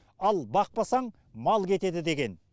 ал бақпасаң мал кетеді деген